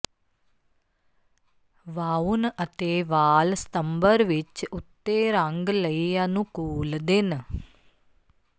ਵਾਉਣ ਅਤੇ ਵਾਲ ਸਤੰਬਰ ਵਿਚ ਉੱਤੇਰੰਗ ਲਈ ਅਨੁਕੂਲ ਦਿਨ